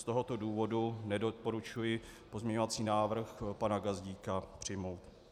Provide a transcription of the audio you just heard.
Z tohoto důvodu nedoporučuji pozměňovací návrh pana Gazdíka přijmout.